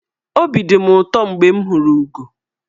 Obi dị mụ ụtọ mgbe m hụrụ ụgọ.